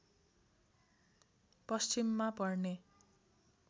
पश्चिममा पर्ने